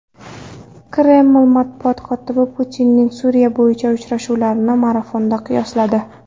Kreml matbuot kotibi Putinning Suriya bo‘yicha uchrashuvlarini marafonga qiyosladi.